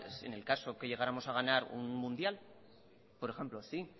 en el caso que llegáramos a ganar un mundial por ejemplo sí